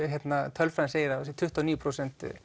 tölfræðin segir að það sé tuttugu og níu prósent